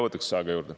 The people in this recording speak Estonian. Võtaksin aega juurde.